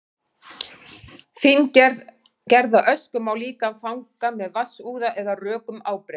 fíngerða ösku má líka fanga með vatnsúða eða rökum ábreiðum